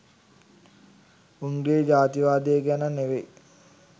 උන්ගේ ජාතිවාදය ගැන නෙවෙයි